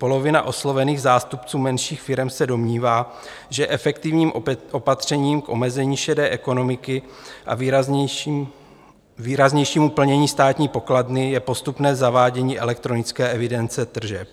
Polovina oslovených zástupců menších firem se domnívá, že efektivním opatřením k omezení šedé ekonomiky a výraznějšímu plnění státní pokladny je postupné zavádění elektronické evidence tržeb.